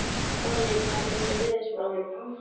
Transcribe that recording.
Árný, hvernig er veðurspáin?